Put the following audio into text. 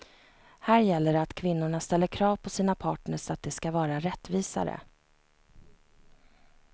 Här gäller det att kvinnorna ställer krav på sina partners att det ska vara rättvisare.